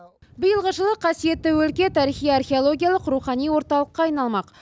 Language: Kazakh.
биылғы жылы қасиетті өлке тарихи археологиялық рухани орталыққа айналмақ